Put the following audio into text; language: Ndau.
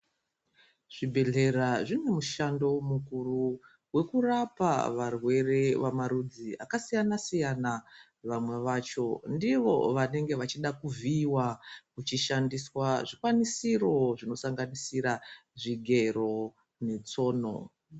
Zvibhedhlera zvinemushando mukuru wekurapa varwere vemarudzi akasiyana-siyana. Vamwe vacho ndivo vanenge vechida kuvhiiwa kuchishandiswa zvikwanisiro zvinosanganisira zvigero netsono.